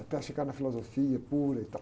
Até chegar na filosofia pura e tal.